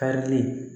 Karilen